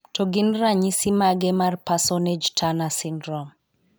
To gin ranyisi mage mag Parsonage Turner syndrome?